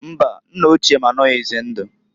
Mbaǃ Nna ochie m anoghizi ndụ.